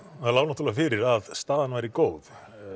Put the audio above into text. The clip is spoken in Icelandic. það lá náttúrulega fyrir að staðan væri góð